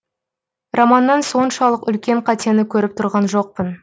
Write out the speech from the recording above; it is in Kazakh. романнан соншалық үлкен қатені көріп тұрған жоқпын